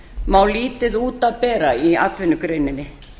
má lítið út af bera í atvinnugreininni